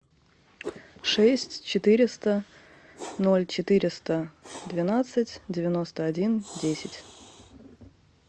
шесть четыреста ноль четыреста двенадцать девяносто один десять